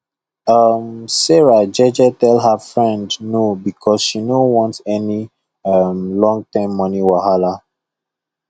um sarah jeje tell her friend no because she no want any um longterm money wahala